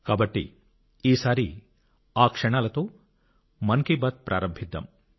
కాబట్టి ఈసారి ఆ క్షణాలతో మన్ కి బాత్ ప్రారంభిద్దాం